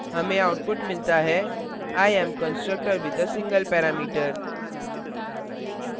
हमें output मिलता है i am constructor with a single parameter